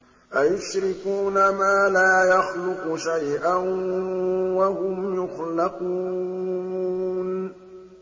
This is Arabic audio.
أَيُشْرِكُونَ مَا لَا يَخْلُقُ شَيْئًا وَهُمْ يُخْلَقُونَ